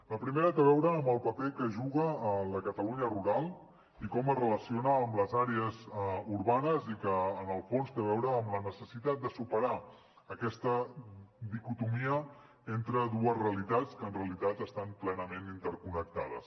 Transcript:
la primera té a veure amb el paper que juga la catalunya rural i com es relaciona amb les àrees urbanes i que en el fons té a veure amb la necessitat de superar aquesta dicotomia entre dues realitats que en realitat estan plenament interconnectades